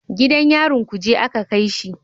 Gidan yarin kuje a ka kai shi